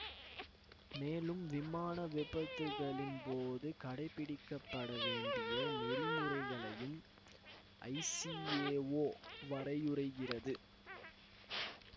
மேலும் விமான விபத்துகளின் போது கடைபிடிக்கப்பட வேண்டிய நெறிமுறைகளையும் ஐசிஏஓ வரையறுக்கிறது